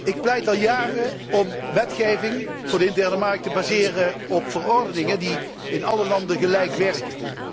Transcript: Ik pleit er al jaren voor om wetgeving voor de interne markt te baseren op verordeningen, die in alle landen gelijk werken.